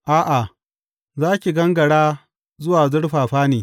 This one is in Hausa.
A’a, za ki gangara zuwa zurfafa ne.